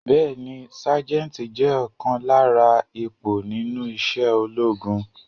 Bẹẹni Sájẹ́ntì jẹ́ ọ̀kan lára ipò nínú isẹ́ ológun.